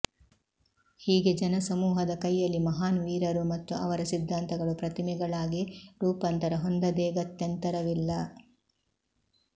ಹೀಗೆ ಜನಸಮೂಹದ ಕೈಯಲ್ಲಿ ಮಹಾನ್ ವೀರರು ಮತ್ತು ಅವರ ಸಿದ್ದಾಂತಗಳು ಪ್ರತಿಮೆಗಳಾಗಿ ರೂಪಾಂತರ ಹೊಂದದೇಗತ್ಯಂತರವಿಲ್ಲ